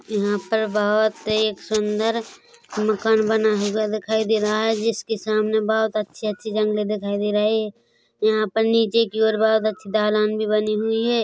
यहाँ पर बहोत ऐ एक सुंन्दर मकान बना हुआ दिखाई दे रहा है जिसके सामने बहोत अच्छे-अच्छे जंगले दिखाई दे रहे है यहाँ पर नीचे की और बहोत अच्छी ढ़लान भी बनी हुई है।